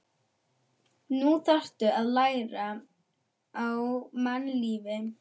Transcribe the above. Nú þarftu að læra á mannlífið.